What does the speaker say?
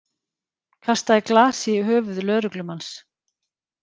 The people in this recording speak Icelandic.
Kastaði glasi í höfuð lögreglumanns